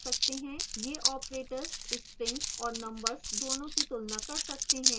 ये operators strings और numbers दोनों की तुलना कर सकते हैं